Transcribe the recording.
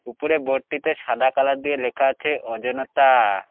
উপরে বোর্ডটিতে সাদা কালার দিয়ে লেখা আছে অজনতা ।